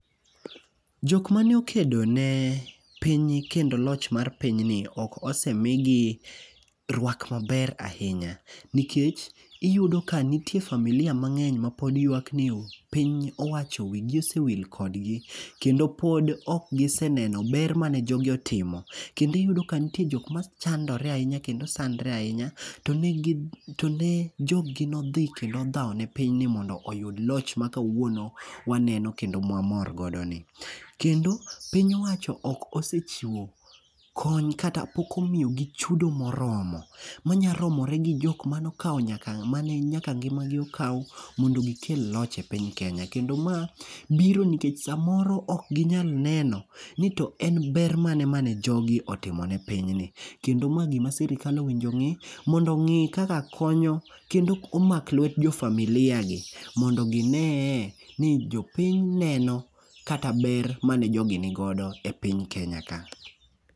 Jok mane okedo ne piny kendo loch mar pinyni, ok osemigi rwak maber ahinya. Nikech iyudo ka nitie familia mangeny ma pod ywak ni piny owacho wigi osewil kodgi. Kendo pod okgiseneno ber mane jogi otimo. Kendo iyudo ka nitie jokma chandore ahinya, kendo sandore ahinya. To ne ne joggi nodhi, kendo odhawo ne pinyni mondo oyud loch ma kawuono waneno, kendo mwamor godo ni. Kendo, piny owacho ok osechiwo kony, kata poko omiyo gi chudo moromo. Manya romore gi jokmane okawo nyaka mane nyaka ngimagi okaw mondo gikel loch e piny kenya. Kendo ma biro nikech saa moro ok ginyal neno ni to en ber mane mane jogi otimone pinyni. Kendo ma gima sirkal owinjo ongí, mondo ongí kaka konyo, kendo omak lwet jo familia gi, mondo ginee ni jopiny neno kata ber mane jogi nigodo e piny Kenya ka.